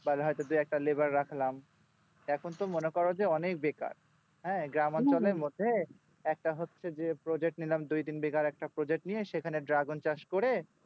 বা হয়তো দুই একটা laborer রাখলাম এখন তো মনে করো যে অনেক বেকার একটা হচ্ছে যে project নিলাম দুই তিন বিঘার মতো project সেখানে dragon চাষ করে